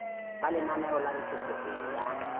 ba lenaneo la ntshetsopele ya